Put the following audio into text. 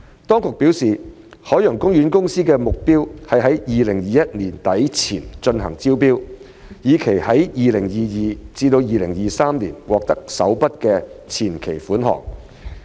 當局表示，海洋公園公司的目標是在2021年年底前進行招標，以期在 2022-2023 年度獲得首筆前期款項。